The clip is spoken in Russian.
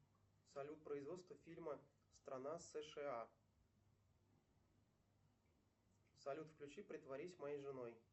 салют производство фильма страна сша салют включи притворись моей женой